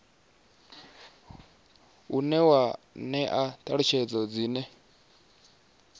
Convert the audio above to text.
une wa ṅea ṱhalutshedzo dzine